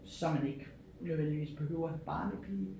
Så man ikke nødvendigvis behøver en barnepige